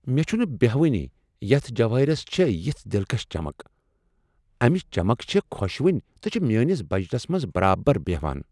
مےٚ چھنہٕ بہوانٕے یتھ جوٲہِرس چھےٚ یژھ دلکش چمک۔ امِچ چمك چھےٚ خۄشوٕنۍ تہٕ چھِ میٛٲنس بجٹس منٛز برابر بیہان ۔